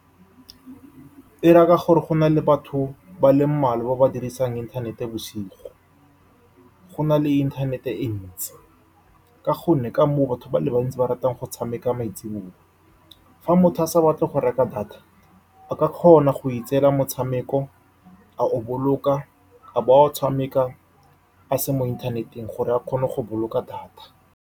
E raya gore gona le batho ba le mmalwa ba ba dirisang inthanete bosigo, go na le inthanete e ntsi ka gonne batho ba le bantsi ba ratang go tshameka maitsiboa. Fa motho a sa batle go reka data, a ka kgona go itseela motshameko, a o boloka, a bo a o tshamekela a se mo inthaneteng gore a kgone go boloka data.